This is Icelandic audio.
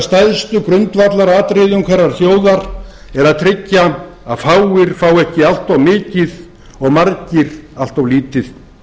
stærstu grundvallaratriðum hverrar þjóðar er að tryggja að fáir fái ekki allt of mikið og margir allt of lítið